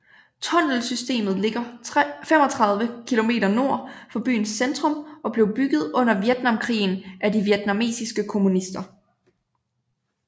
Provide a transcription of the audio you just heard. Tunnelsystemet ligger 35 km nord for byens centrum og blev bygget under Vietnamkrigen af de vietnamesiske kommunister